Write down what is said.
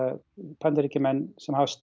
Bandaríkjamenn sem hafa